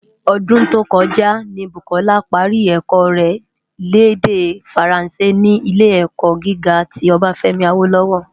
Ódún tó kòjá ni Bukola pári èkò rè l' èdè Fáránsé ni Ilé-èkò gigá ti Obafemi Awolowo.